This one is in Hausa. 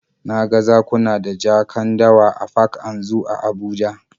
Na ga zakuna da jakan dawa a park and zoo a Abuja